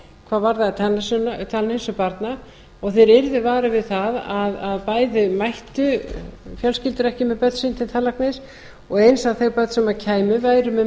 hvað varðaði tannheilsu barna og þeir yrðu varir við það að bæði mættu fjölskyldur ekki með börn sín til tannlæknis og eins að þau börn sem kæmu væru með